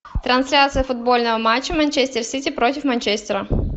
трансляция футбольного матча манчестер сити против манчестера